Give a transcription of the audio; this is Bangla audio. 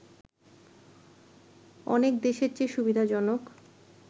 অনেক দেশের চেয়ে সুবিধাজনক